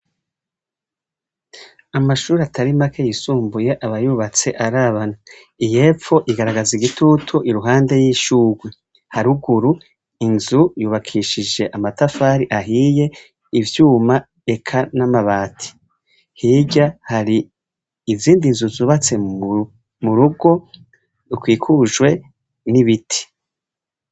Amashuri atari make yisumbuye aba yubatse arabana. Iy'epfo igaragaza igitutu iruhande y'ishugwe. Haruguru, inzu yubakishije amatafari ahiye, ivyuma eka n'amabati. Hirya, hari izindi nzu zubatse mu rugo rukikujwe n'ibiti.